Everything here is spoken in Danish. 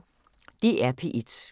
DR P1